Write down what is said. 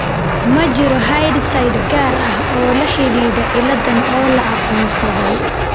Ma jiro hidde-side gaar ah oo la xidhiidha cilladaan oo la aqoonsaday.